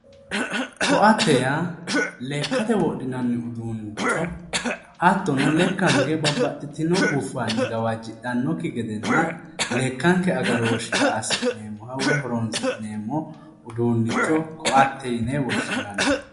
Koatte yaa lekkate wodhinanni uduunnicho hattono lekkanke babbaxitino guffanni gawajjidhannokki gedenna lekkanke agarooshshira assi'neemmo woyi horonsi'neemmo uduunnicho koate yine woshshinanni.